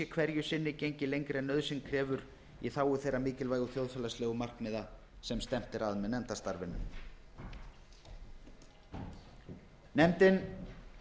hverju sinni gengið lengra en nauðsyn krefur í þágu þeirra mikilvægu þjóðfélagslegu markmiða sem stefnt er að með nefndarstarfinu nefndin